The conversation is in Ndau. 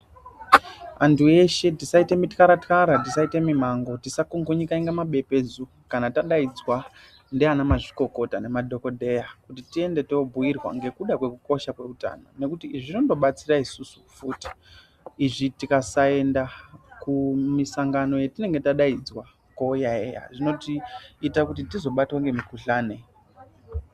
Antu eshe tisaite mitwara-twara tisaite mimango tikungunyika kunga mabepedzu kana tadaidzwa ndiana mazvikokota ngemadhogodheya kuti tiende tobhuirwa ngekuda kwekukosha kweutano. Nekuti izvi zvinondo batsira isisu futi izvi tikasaenda kumisangano yatinonga tadaidzwa koyaeya zvinotiita kuti tizobatwa ngemikuhlani.